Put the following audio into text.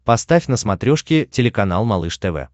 поставь на смотрешке телеканал малыш тв